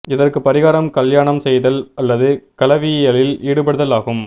இதற்குப் பரிகாரம் கல்யாணம் செய்தல் அல்லது கலவியியலில் ஈடுபடுதல் ஆகும்